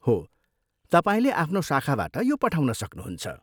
हो, तपाईँले आफ्नो शाखाबाट यो पठाउन सक्नुहुन्छ।